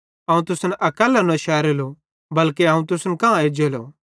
अवं तुसन अकैल्लो न शेरेलो बल्के अवं तुसन कां एज्जेलो